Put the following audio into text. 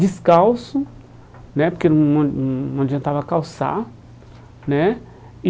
descalço né, porque não não adiantava calçar né.